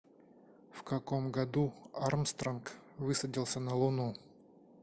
в каком году армстронг высадился на луну